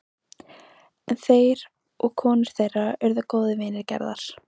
En þeir og konur þeirra urðu góðir vinir Gerðar.